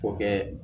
O kɛ